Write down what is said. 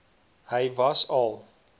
hy was al